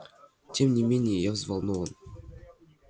тем не менее я взволнован